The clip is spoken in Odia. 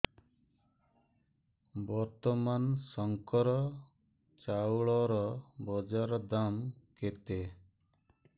ବର୍ତ୍ତମାନ ଶଙ୍କର ଚାଉଳର ବଜାର ଦାମ୍ କେତେ